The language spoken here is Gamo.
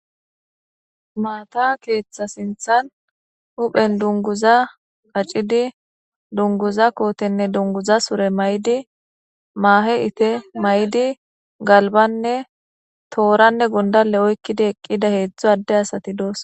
Maata keeththa sinthan huphen dunguza qaccidi dunguza kootenne dunguza sure maydi maahe ite maydi galbanne tooranne gundale oykkidi eqqida heedzdzu adde asati doosona.